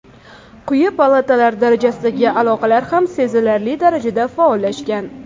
Quyi palatalar darajasidagi aloqalar ham sezilarli darajada faollashgan.